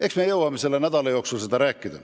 Eks me jõua selle nädala jooksul sellest rääkida.